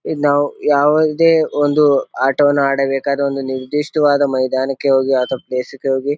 ಇದ್ ನಾವು ಯಾವುದೇ ಒಂದು ಆಟವನ್ನು ಆಡಬೇಕಾದ್ರ ಒಂದು ನಿರ್ದಿಷ್ಟವಾದ ಮೈದಾನಕ್ಕೆ ಹೋಗಿ ಅಥವಾ ಪ್ಲೇಸಿ ಗೆ ಹೋಗಿ --